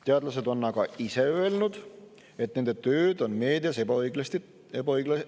Teadlased on ise öelnud, et nende tööd on meedias ebaõigesti tõlgendatud.